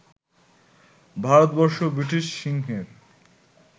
Bharatvarsha British সিংহের